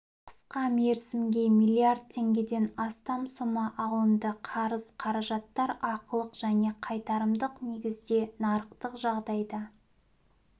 қысқа мерзімге миллиард теңгеден астам сома алынды қарыз қаражаттар ақылық және қайтарымдық негізде нарықтық жағдайда